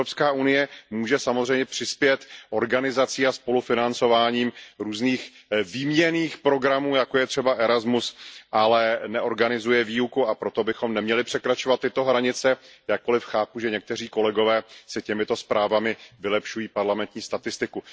EU může samozřejmě přispět organizací a spolufinancováním různých výměnných programů, jako je třeba ERASMUS, ale neorganizuje výuku, a proto bychom neměli překračovat tyto hranice, jakkoli chápu, že někteří kolegové si těmito zprávami vylepšují parlamentní statistiku.